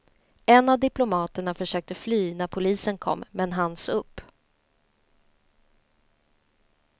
En av diplomaterna försökte fly när polisen kom men hanns upp.